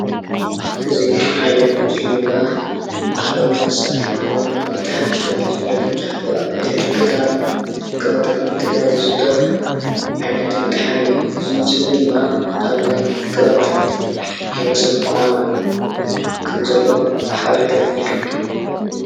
እዚ ዓይነት ምስሊ ድማ ባህላዊ መሳርሒ ዝኮነ መጥሓን ተባሂሉ ዝፍለጥ መብዛሕትኡ አብ ሕድሕድ ገጠራትን ከባቢታትን ትግራይ ዝዝውተር ዓይነት መጥሓን እዩ፡፡ እዚ ምስሊ ድማ ኣብ ናይ ከባቢታት ቢሄረ ሰብ ኩናማ ከም ዘሎ ሓበሬታ የመልክት፡፡